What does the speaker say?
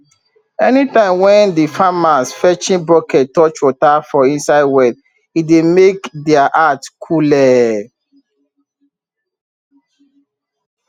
anytime wen de farmers fetching bucket touch water for inside well e dey make deir heart coole